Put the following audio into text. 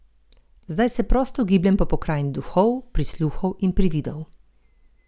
Zdaj se prosto gibljem po pokrajini duhov, prisluhov in prividov.